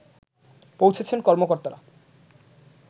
পৌঁছেছেন কর্মকর্তারা